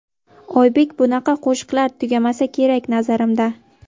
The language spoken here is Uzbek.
Oybek: Bunaqa qo‘shiqlar tugamasa kerak nazarimda.